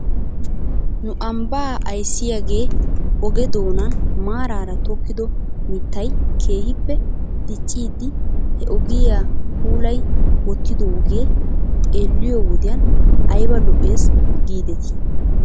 Nu ambbaa ayssiyaagee oge doonan maaraara tokkido mittay keehippe diccidi he ogiyaa puulayi wottidaagee xeelliyoo wodiyan ayba lo'es giidetii .